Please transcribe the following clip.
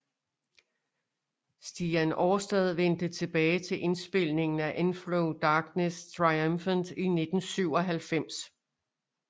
Stian Aarstad vendte tilbage til indspilningen af Enthrone Darkness Triumphant i 1997